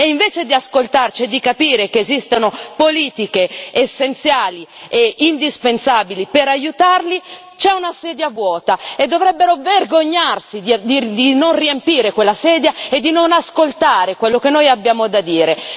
E invece di ascoltarci e di capire che esistono politiche essenziali e indispensabili per aiutarli, c'è una sedia vuota, e dovrebbero vergognarsi di non riempire quella sedia e di non ascoltare quello che noi abbiamo da dire!